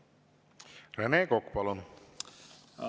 Rene Kokk, palun!